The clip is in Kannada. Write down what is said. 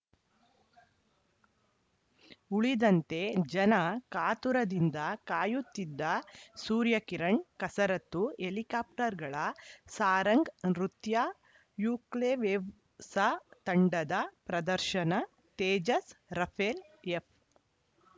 ಉಳಿದಂತೆ ಜನ ಕಾತುರದಿಂದ ಕಾಯುತ್ತಿದ್ದ ಸೂರ್ಯ ಕಿರಣ್‌ ಕಸರತ್ತು ಹೆಲಿಕಾಪ್ಟರ್‌ಗಳ ಸಾರಂಗ್‌ ನೃತ್ಯ ಯುಕೊವ್ಲೆವ್‌್ಸ ತಂಡದ ಪ್ರದರ್ಶನ ತೇಜಸ್‌ ರಫೇಲ್‌ ಎಫ್‌